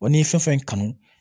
Wa n'i fɛn fɛn kanu